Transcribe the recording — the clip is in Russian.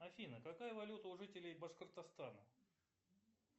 афина какая валюта у жителей башкортостана